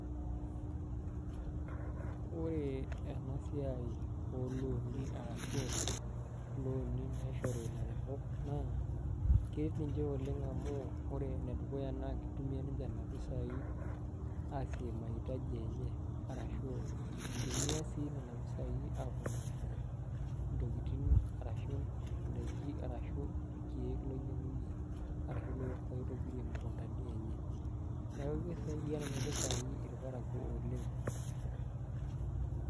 Ore enasiai oloni arashu loni naishori laremok, naa, keret ninche oleng amu, ore enedukuya naa kitumia ninche nena pisai asie mahitaji enye arashu itumia si nena pisai aponarie intokiting arashu idaiki arashu irkeek loinyang'unye arashu loitobirie imukuntani enye. Neeku kisaidia nena pisai irparakuo oleng.